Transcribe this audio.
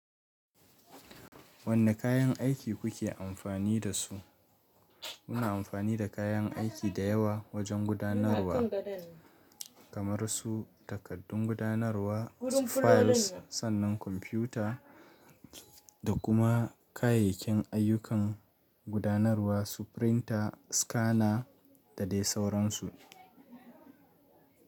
Wanne kayan aiki kuke amfani da su? Muna amfani da kayan aiki da yawa wajen gudanarwa, kamar su takaddun gudanarwa, files, sannan kwamfuta da kuma kayayyakin ayyukan gudanarwa su pirinta, scanner da dai sau ransu.